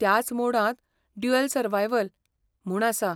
त्याच मोडांत 'dual survival' म्हूण आसा.